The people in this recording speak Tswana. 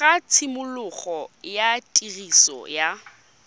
ga tshimologo ya tiriso ya